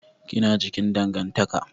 Ki na cikin dangantaka.